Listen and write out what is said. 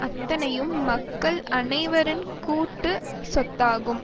அத்தனையும் மக்கள் அனைவரின் கூட்டு சொத்தாகும்